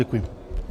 Děkuji.